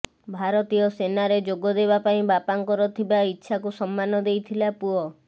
ଭାରତୀୟ ସେନାରେ ଯୋଗଦେବା ପାଇଁ ବାପାଙ୍କର ଥିବା ଇଚ୍ଛାକୁ ସମ୍ମାନ ଦେଇଥିଲା ପୁଅ